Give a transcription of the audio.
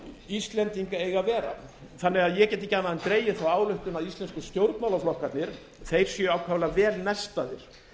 íslendinga eiga að vera þannig að ég get ekki annað en dregið þá ályktun að íslensku stjórnmálaflokkarnir séu ákaflega vel nestaðir